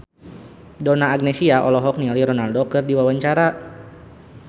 Donna Agnesia olohok ningali Ronaldo keur diwawancara